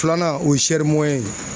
Filanan ,o ye ye.